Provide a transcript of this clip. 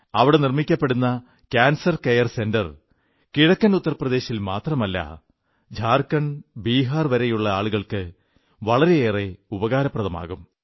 അവിടെ നിർമ്മിക്കപ്പെടുന്ന cancer care centre കിഴക്കൻ ഉത്തർ പ്രദേശിൽ മാത്രമല്ല ഝാർഖണ്ഡ് ബീഹാർ വരെയുള്ള ആളുകൾക്ക് വളരെയേറെ ഉപകാരപ്രദമാകും